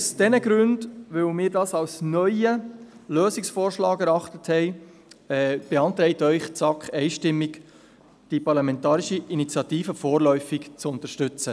Aus diesen Gründen, weil wir dies, wie gesagt, als neuen Lösungsvorschlag erachtet haben, beantragt Ihnen die SAK einstimmig, die Parlamentarische Initiative vorläufig zu unterstützen.